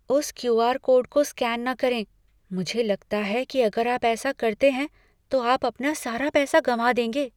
उस Q. R. Code को scan न करें। मुझे लगता है कि अगर आप ऐसा करते हैं, तो आप अपना सारा पैसा गवां देंगे।